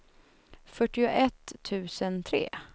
fyrtioett tusen tre